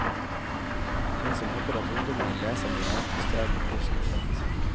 Den som håper at ungdommene leser noe annet i stedet, blir skuffet.